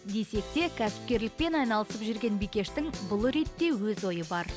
десек те кәсіпкерлікпен айналысып жүрген бикештің бұл ретте өз ойы бар